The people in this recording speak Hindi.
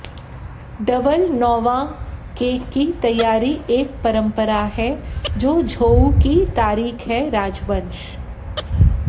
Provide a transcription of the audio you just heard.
डबल नौवां केक की तैयारी एक परंपरा है जो झोउ की तारीख है राजवंश